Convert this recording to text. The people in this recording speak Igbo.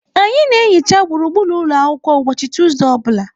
Anyị na-ehicha gburugburu ụlọ akwụkwọ ụbọchị Tuesday ọ bụla.